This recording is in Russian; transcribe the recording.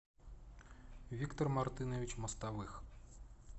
виктор мартынович мостовых